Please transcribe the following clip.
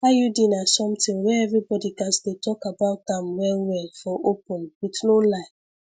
iud na something wey everybody gats dey talk about am well well for open with no lie